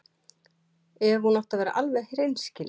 Ef hún átti að vera alveg hreinskilin.